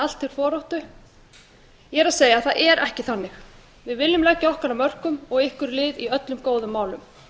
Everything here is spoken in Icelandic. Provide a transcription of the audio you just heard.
allt til foráttu ég er að segja það er ekki þannig við viljum leggja okkar að mörkum og ykkur lið í öllum góðum málum